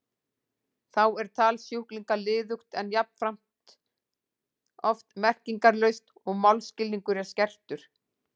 Þá er tal sjúklinga liðugt en jafnframt oft merkingarlaust, og málskilningur er skertur.